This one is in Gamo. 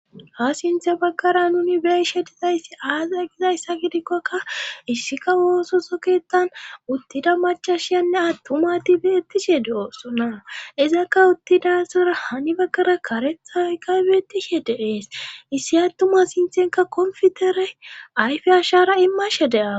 Ha sinthe baggara nuni beishe dizayssi aaza gizayssa gidikkoka issika oososoketan uttida macashiyanne attumatibeettishe de'oossonna izakka uttidasara hani baggara karethay kaybeetishe deees issi attuma sinthenka konfitere ayfi ashara immashe de'a.